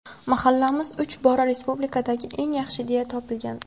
Mahallamiz uch bora respublikadagi eng yaxshi deya topilgan.